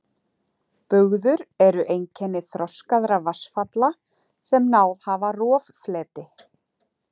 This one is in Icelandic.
Bugður eru einkenni þroskaðra vatnsfalla sem náð hafa roffleti.